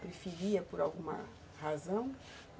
Preferia por alguma razão?